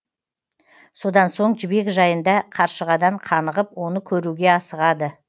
содан соң жібек жайында қаршығадан қанығып оны көруге асығады